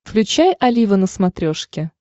включай олива на смотрешке